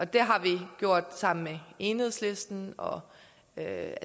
det har vi gjort sammen med enhedslisten og jeg